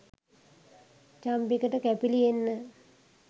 චම්පිකට කැපිලි එන්න